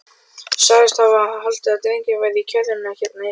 Sagðist hafa haldið að drengurinn væri í kerrunni hérna niðri.